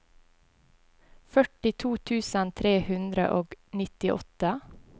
førtito tusen tre hundre og nittiåtte